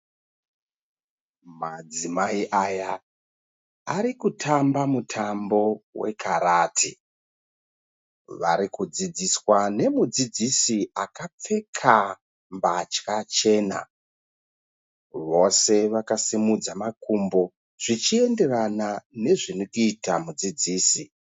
Madzimai aya ari kutamba mutambo wekarati. Vari kudzidziswa nemudzidzisi akapfeka mbatya chena. Vose vakasimudza makumbo zvichienderana nezviri kuita mudzidzisi.